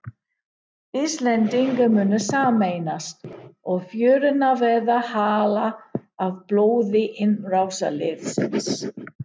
Íslendingar munu sameinast og fjörurnar verða hálar af blóði innrásarliðsins.